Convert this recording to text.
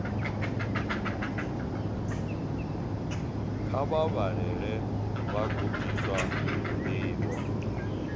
kha vha vhalele vhagudiswa ndivho